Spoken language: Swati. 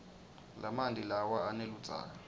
lamanti lawa aneludzaka